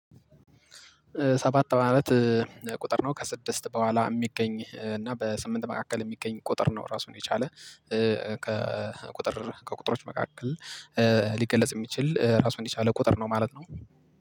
ሰባት ማለት እ ቁጥር ነው። ከስድስት በኋላ የሚገኝ እና በስምንት መካከል የሚገኝ ቁጥር ነው። ራሱን የቻለ እ ከቁጥር ከቁጥሮች መካከል እ ሊገለጽ የሚችል ራሱን የቻለ ቁጥር ነው ማለት ነው።